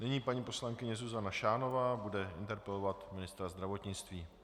Nyní paní poslankyně Zuzana Šánová bude interpelovat ministra zdravotnictví.